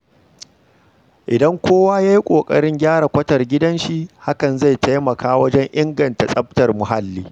Idan kowa ya yi ƙoƙarin gyara kwatar gidanshi, hakan zai taimaka wajen inganta tsaftar muhalli.